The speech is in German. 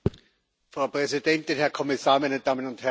Frau Präsidentin, Herr Kommissar, meine Damen und Herren!